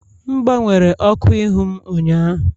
M gbanwere ọkụ ihu m ụnyaahụ